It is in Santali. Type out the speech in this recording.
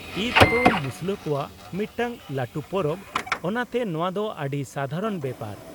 -ᱤᱫ ᱛᱚ ᱢᱩᱥᱞᱟᱹ ᱠᱚᱣᱟᱜ ᱢᱤᱫᱴᱟᱝ ᱞᱟᱹᱴᱩ ᱯᱚᱨᱚᱵᱽ ᱚᱱᱟᱛᱮ ᱱᱚᱶᱟ ᱫᱚ ᱟᱹᱰᱤ ᱥᱟᱫᱷᱟᱨᱚᱱ ᱵᱮᱯᱟᱨ ᱾